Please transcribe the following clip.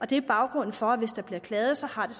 det er baggrunden for at hvis der bliver klaget har det